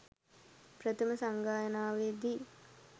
ප්‍රථම සංගායනාවේ දී